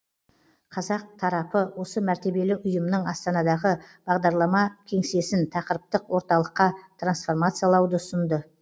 қазақ тарапы осы мәртебелі ұйымның астанадағы бағдарлама кеңсесін тақырыптық орталыққа трансформациялауды ұсынды